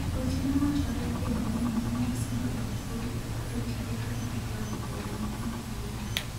weche mawachore e mbui ni mine isando gi thoth jotije kagidhi e od dhodho nyithindo mayom